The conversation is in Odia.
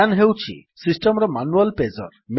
ମ୍ୟାନ୍ ହେଉଛି ସିଷ୍ଟମ୍ ର ମାନୁଆଲ୍ ପେଜର୍